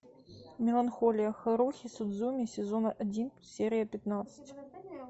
меланхолия харухи судзумии сезон один серия пятнадцать